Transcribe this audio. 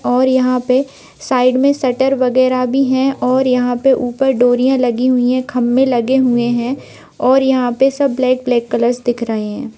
और यहाँ पे साइड में शटर वगैरा भी हैं और यहाँ पे ऊपर डोरियां लगी हुई हैं खंभे लगे हुए हैं और यहाँ पे सब ब्लैक ब्लैक कलर्स दिख रहे हैं।